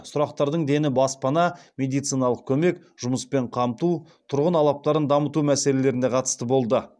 сұрақтардың дені баспана медициналық көмек жұмыспен қамту тұрғын алаптарын дамыту мәселелеріне қатысты болды